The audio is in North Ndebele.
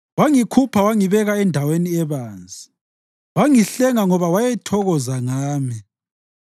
Wangikhupha wangibeka endaweni ebanzi wangihlenga ngoba wayethokoza ngami.